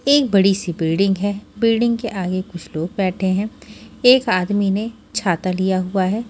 एक बड़ी सी बिल्डिंग है बिल्डिंग के आगे कुछ लोग बैठे हैं एक आदमी ने छाता लिया हुआ है।